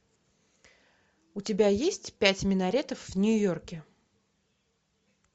у тебя есть пять минаретов в нью йорке